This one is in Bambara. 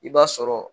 I b'a sɔrɔ